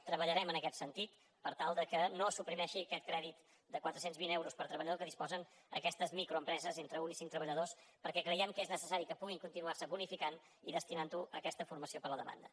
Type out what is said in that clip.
treballarem en aquest sentit per tal que no es suprimeixi aquest crèdit de quatre cents i vint euros per treballador de què disposen aquestes microempreses entre un cinc treballadors perquè creiem que és necessari que puguin continuar se bonificant i destinar ho a aquesta formació per a la demanda